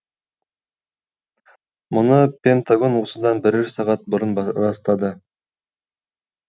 мұны пентагон осыдан бірер сағат бұрын растады